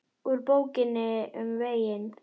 Úr Bókinni um veginn